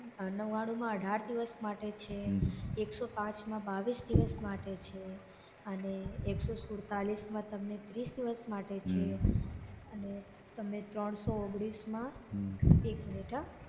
નવ્વાણુમાં અઢાર દિવસ માટે છે એકસો પાંચમા બાવીસ દિવસ માટે છે અને એકસો સુડતાળીસમાં તમને ત્રીસ દિવસ માટે છે અને ત્યામને ત્રણસો ઓગણીસમા એક મિનિટ હા